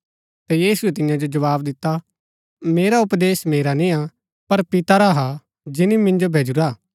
ता यीशुऐ तियां जो जवाव दिता मेरा उपदेश मेरा निय्आ पर पिता रा हा जिनी मिन्जो भैजुरा हा